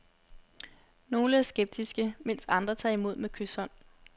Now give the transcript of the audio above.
Nogle er skeptiske, mens andre tager imod med kyshånd.